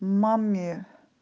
маме